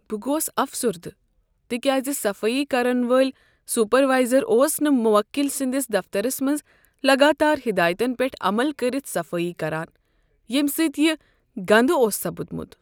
بہٕ گوس افسردٕ تکیاز صفٲیی کرن وٲلۍ سپروایزر اوس نہٕ موکل سندس دفترس منٛز لگاتار ہدایتن پیٹھ عمل کٔرتھ صفٲیی کران ییٚمہ سۭتۍ یہ گندٕ اوس سپدمت۔